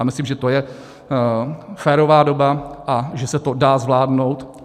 A myslím, že to je férová doba a že se to dá zvládnout.